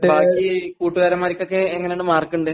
ബാക്കി കൂട്ടുകാരന്മാർക്കൊക്കെ എങ്ങനെയാണു മാർക്കുണ്ട?